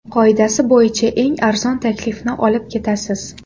Qoidasi bo‘yicha eng arzon taklifni olib ketasiz.